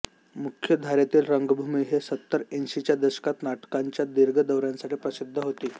मुख्य धारेतील रंगभूमी ही सत्तरऐंशीच्या दशकात नाटकांच्या दीर्घ दौऱ्यांसाठी प्रसिद्ध होती